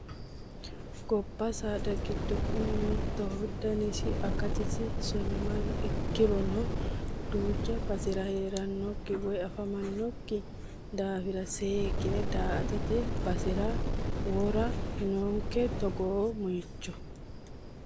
Gobba saada giddo kuni mittoho danisi akatisi sonimalehu ikkirono duucha basera heeranokki woyi afamanokki daafira seekkine daa"attote basera wora noonke togoo moicho.